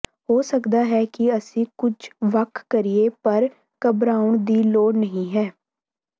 ਹੋ ਸਕਦਾ ਹੈ ਕਿ ਅਸੀਂ ਕੁਝ ਵੱਖ ਕਰੀਏ ਪਰ ਘਬਰਾਉਣ ਦੀ ਲੋੜ ਨਹੀਂ ਹੈ